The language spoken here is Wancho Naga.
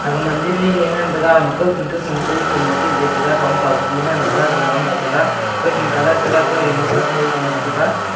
aga mandir lele ngan tega ama kau khin kau khin ekah chitle ngan taiga thongpa beji ngan tega gama au ngai tega kau khin tega kau ding tega kau thon tega.